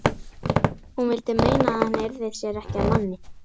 Hún vildi meina að hann yrði sér ekki að manni.